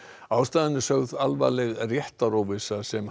ástæðan er sögð alvarleg réttaróvissa sem